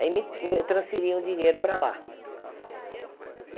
Aí me me transferiam o dinheiro para lá.